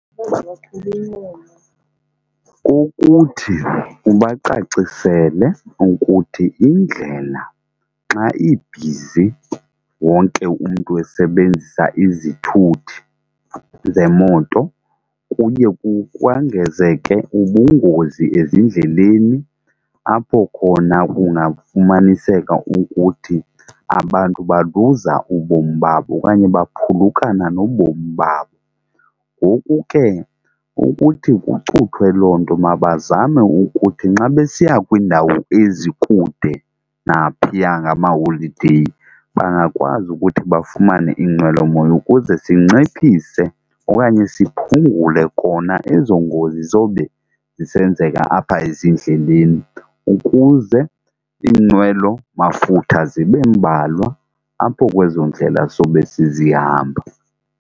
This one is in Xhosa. Kukuthi ubacacisele ukuthi indlela xa ibhizi wonke umntu esebenzisa izithuthi zemoto kuye kukwangezeke ubungozi ezindleleni apho khona kungafumaniseka ukuthi abantu baluza ubomi babo okanye baphulukana nobomi babo. Ngoku ke ukuthi kucuthwe loo nto mabazame ukuthi nxa besiya kwiindawo ezikude naphiya ngamaholideyi bangakwazi ukuthi bafumane inqwelomoya ukuze sinciphise okanye siphungule kona ezo ngozi zobe zisenzeka apha ezindleleni ukuze iinqwelomafutha zibe mbalwa apho kwezo ndlela sobe sizihamba.